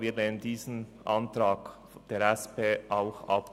Wir lehnen diesen Antrag der SP-JUSO-PSA auch ab.